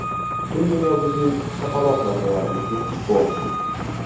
Butun dunyo bizning shapaloq zarbalarimizga guvoh bo‘ldi.